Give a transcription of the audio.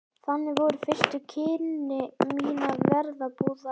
Þannig voru fyrstu kynni mín af verbúðalífinu.